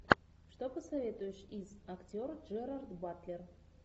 что посоветуешь из актер джерард батлер